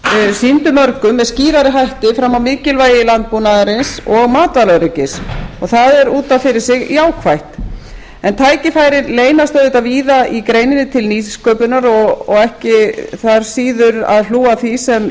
sýndu mörgum með skýrari hætti fram á mikilvægi landbúnaðarins og matvælaöryggið og það er út af fyrir sig jákvætt en tækifærin leynast auðvitað víða í greininni til nýsköpunar og ekki þarf síður að hlúa að því sem